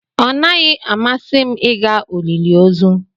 Ọ naghị amasị m ịga olili ozu.